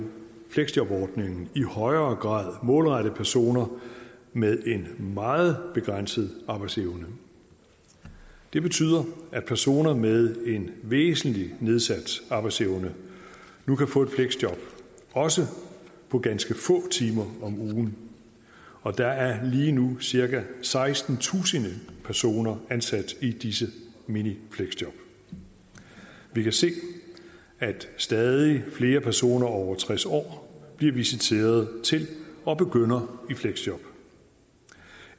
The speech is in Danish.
fleksjobordningen i højere grad målrettet personer med en meget begrænset arbejdsevne det betyder at personer med en væsentlig nedsat arbejdsevne nu kan få et fleksjob også på ganske få timer om ugen og der er lige nu cirka sekstentusind personer ansat i disse minifleksjob vi kan se at stadig flere personer over tres år bliver visiteret til og begynder i fleksjob